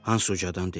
Hans ucadan dedi.